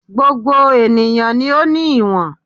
Gbogbo ènìyàn ni ó ní ìwọ̀n